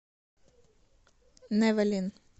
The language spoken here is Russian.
нэвэлин